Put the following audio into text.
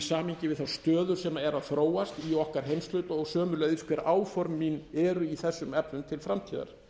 samhengi við þá stöðu sem er að þróast í okkar heimshluta og sömuleiðis hver áform mín eru í þessum efnum til framtíðar